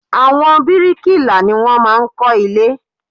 Àwọn brikila ní wọ́n máa ń kó ilé